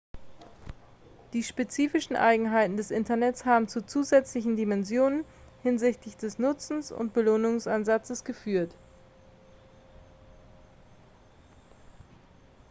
die spezifischen eigenheiten des internets haben zu zusätzlichen dimensionen hinsichtlich des nutzen und belohnungsansatzes geführt